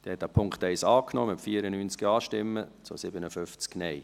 Sie haben den Punkt 1 angenommen, mit 94 Ja- zu 57 Nein-Stimmen.